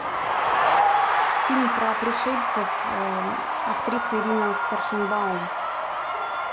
фильм про пришельцев актриса ирина старшенбаум